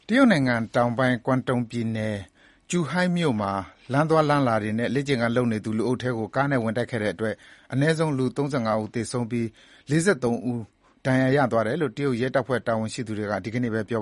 တရုတ်နိုင်ငံတောင်ပိုင်း Guangdong ပြည်နယ်၊ Zhuhai မြို့မှာ လမ်းသွားလမ်းလာတွေနဲ့ လေ့ကျင်ခန်းလုပ်နေသူ လူအုပ်ထဲကို ကားနဲ့ဝင်တိုက်ခဲ့တဲ့အတွက် အနည်းဆုံး လူ ၃၅ ဦးသေဆုံးပြီး ၄၃ ဦးဒဏ်ရာရရှိသွားတယ်လို့ တရုတ်ရဲ့ တပ်ဖွဲ့တာဝန် ရှိသူတွေက ဒီနေ့ပဲ ပြော